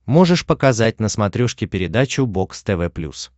можешь показать на смотрешке передачу бокс тв плюс